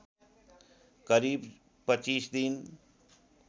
करिब २५ दिन